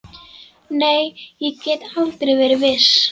Nei, ég get aldrei verið viss.